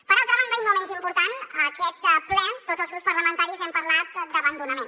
per altra banda i no menys important a aquest ple tots els grups parlamentaris hem parlat d’abandonament